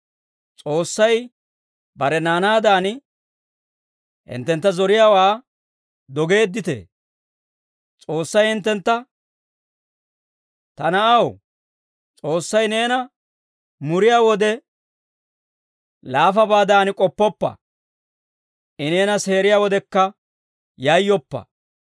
S'oossay bare naanaadan, hinttentta zoriyaawaa dogeedditee? S'oossay hinttentta, «Ta na'aw, S'oossay neena muriyaa wode, laafabaadan k'oppoppa. I neena seeriyaa wodekka yayyoppa.